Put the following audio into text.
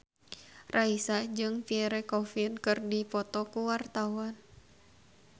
Raisa jeung Pierre Coffin keur dipoto ku wartawan